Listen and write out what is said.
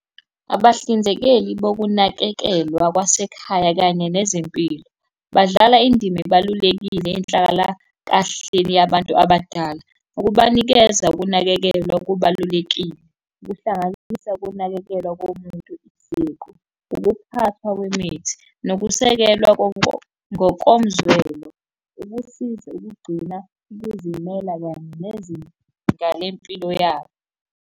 Abahlinzekeli bokunakekelwa kwasekhaya kanye nezempilo, badlala indima ebalulekile enhlalakahleni yabantu abadala. Ukubanikeza ukunakekelwa kubalulekile, kuhlanganisa ukunakekelwa komuntu siqu, ukuphathwa kwemithi nokusekelwa ngokomzwelo, ukusiza ukugcina ukuzimela kanye nezinga lempilo yabo.